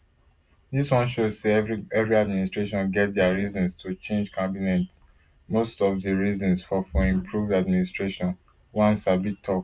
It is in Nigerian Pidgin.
dis wan show say evri administration get dia reasons to change cabinet but most of di reasons for for improved administration one sabi tok